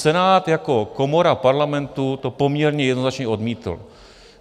Senát jako komora Parlamentu to poměrně jednoznačně odmítl.